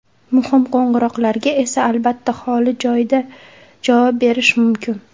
Muhim qo‘ng‘iroqlarga esa, albatta, holi joyda javob berish mumkin.